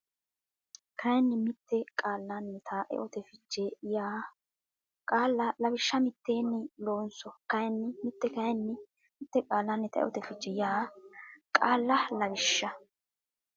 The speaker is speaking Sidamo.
kayinni mitto Qaallannita eote fiche yaa qaalla lawishsha mitteenni loonso kayinni mitto kayinni mitto Qaallannita eote fiche yaa qaalla lawishsha.